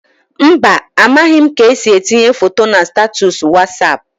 Mba, amaghị m ka esi etinye foto na statọs Wasap.